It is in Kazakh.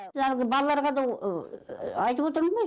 жалпы балаларға да айтып отырмын ғой